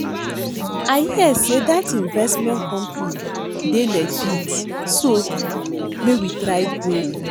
I hear say dat investment company dey legit so make we try go